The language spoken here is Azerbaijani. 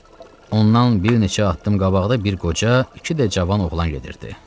Ondan bir neçə addım qabaqda bir qoca, iki də cavan oğlan gedirdi.